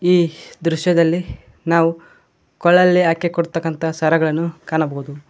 ಈ ದೃಶ್ಯದಲ್ಲಿ ನಾವು ಕೊಳ್ಳಲಿ ಹಾಕಿಕೊಳ್ಳುವ ಅಂತ ಸರಗಳನ್ನು ಕಾಣಬಹುದು.